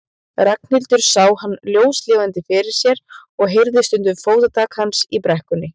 Ragnhildur sá hann ljóslifandi fyrir sér og heyrði stundum fótatak hans í brekkunni.